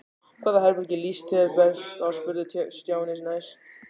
Hvaða herbergi líst þér best á? spurði Stjáni næst.